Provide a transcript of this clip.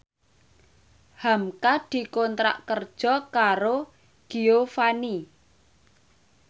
hamka dikontrak kerja karo Giovanni